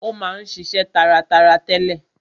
Ó ma ń ṣiṣe taratara tẹ́lẹ̀.